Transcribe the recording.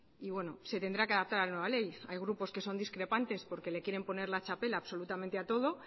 y se tendrá que adaptar a la nueva ley hay grupos que son discrepantes porque le quieren poner la txapela absolutamente a todo